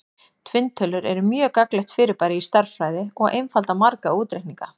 Tvinntölur eru mjög gagnlegt fyrirbæri í stærðfræði og einfalda marga útreikninga.